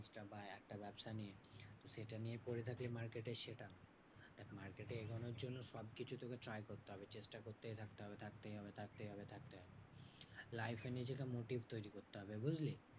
একটা ব্যাবসা নিয়ে সেটা নিয়ে পরে থাকলে market এর সেটা। দেখ market এ এগোনোর জন্য সবকিছু তোকে try করতে হবে। চেষ্টা করতেই থাকবে হবে থাকতেই হবে থাকতেই হবে থাকতেই হবে। life এ নিজেকে motive তৈরী করতে হবে বুঝলি?